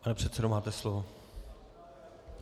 Pane předsedo, máte slovo.